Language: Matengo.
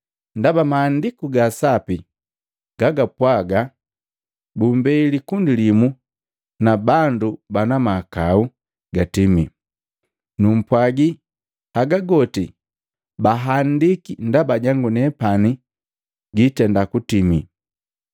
Ndaba Maandiku ga Sapi gagapwaaga, ‘Bumbei likundi limu na bandu banamahakau gatimi.’ Numpwagi, haga goti bahandiki ndaba jangunepani giitenda kutimi.”